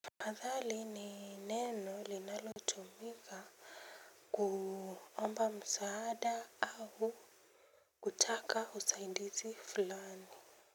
Madhali ni neno linalotumika kuomba msaada au kutaka usaidizi fulani.